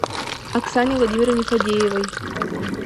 оксане владимировне фадеевой